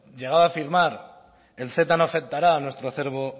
llegó a afirmar el ceta no afectará a nuestro acervo